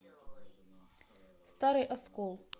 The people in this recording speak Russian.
старый оскол